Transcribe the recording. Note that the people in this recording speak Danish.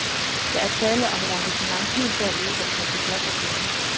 Der er tale om et engagement helt derude, hvor det koster job og penge.